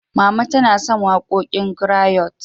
Mama tana son waƙoƙin grayot.